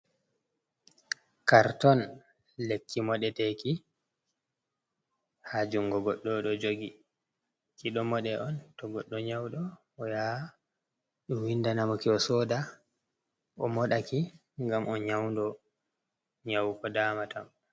Karton, lekki moɗeteki ha jungo goɗɗo ɗo jogi ki, ɗo moɗe on to goɗɗo nyauɗo o yaha ɓe windanamoki o soda o modaki gam on nyaudo nyaw ko damatamo.